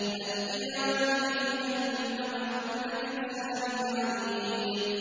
أَلْقِيَا فِي جَهَنَّمَ كُلَّ كَفَّارٍ عَنِيدٍ